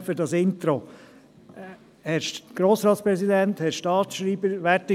Vielen Dank, Herr Grossratspräsident, für dieses Intro!